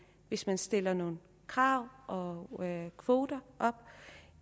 hvis man stiller nogle krav og nogle kvoter op